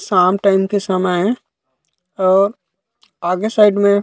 शाम टाइम के समय ए और आगे साइड में--